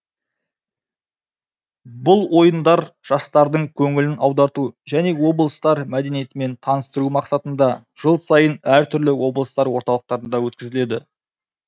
бұл ойындар жастардың көңілін аударту және облыстар мәдениетімен таныстыру мақсатында жыл сайын әртүрлі облыстар орталықтарында өткізіледі